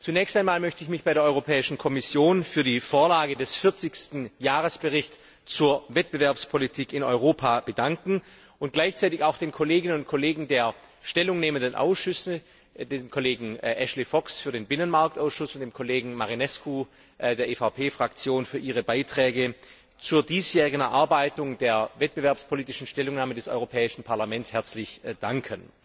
Zunächst einmal möchte ich mich bei der Europäischen Kommission für die Vorlage des 40. Jahresberichts zur Wettbewerbspolitik in Europa bedanken und gleichzeitig auch den Kolleginnen und Kollegen der stellungnehmenden Ausschüsse, dem Kollegen Ashley Fox für den Ausschuss für Binnenmarkt und Verbraucherschutz und dem Kollegen Marinescu von der EVP Fraktion, für ihre Beiträge zur diesjährigen Erarbeitung der wettbewerbspolitischen Stellungnahme des Europäischen Parlaments herzlich danken.